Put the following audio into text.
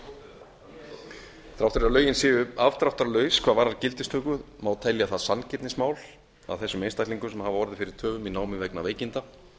þrátt fyrir að lögin séu afdráttarlaus hvað varðar gildistöku má telja það sanngirnismál að þessum einstaklingum sem hafa orðið fyrir töfum á námi vegna veikinda